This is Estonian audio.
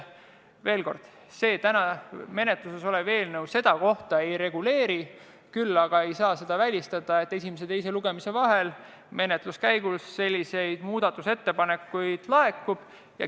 Veel kord, täna menetluses olev eelnõu seda ei reguleeri, küll aga ei saa välistada, et esimese ja teise lugemise vahel selliseid muudatusettepanekuid laekub.